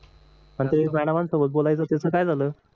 आणि ते मॅडम सोबत बोलायचं त्याच काय झालं